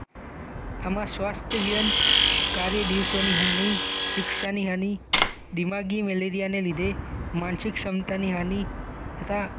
આમાં સ્વસ્થવયન કાર્ય દિવસોની હાનિ શિક્ષાની હાની દિમાગી મલેરિયાને લીધે માનસિક ક્ષમતાની હાનિ તથા